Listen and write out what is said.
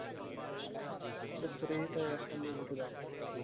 spray ਤਾਂ ਮੋਹਿਤ ਕਰਦਾ ਯਾਰ